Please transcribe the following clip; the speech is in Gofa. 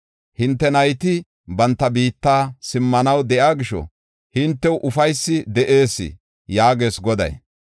Hinte nayti banta biitta simmanaw de7iya gisho, hintew ufaysi de7ees” yaagees Goday.